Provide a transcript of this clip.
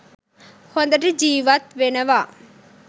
හොඳට ජීවත් වෙනවා.